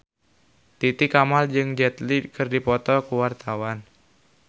Titi Kamal jeung Jet Li keur dipoto ku wartawan